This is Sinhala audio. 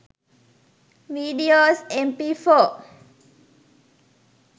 videos mp4